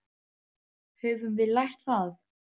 Höfum við lært það?